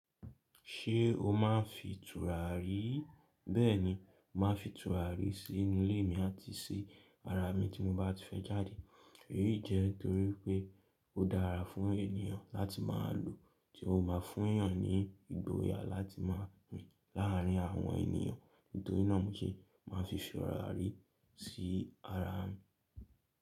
Ṣé o máa ń fin tùràrí? Bẹ́ẹ̀ni, màá fin tùràrí sí inú ilé mi àti sí ara mi tí mo bá ti fẹ́ jáde. Èyí jẹ́ torí pé ó dára fún ènìyàn láti máa lòó, tí ó máa fún èèyàn ní ìgboyà láti máa rin láàárín àwọn ènìyàn. Nítorínà mó ṣe màá n fi tùràrí sí ara mi.